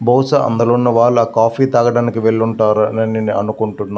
బహుశా అందులో ఉన్నవాళ్ళు ఆ కాఫీ తాగటానికి వెళ్ళుంటారు అనుకుంటున్న.